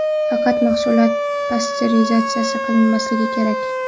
Faqat mahsulot pasterizatsiya qilinmasligi kerak.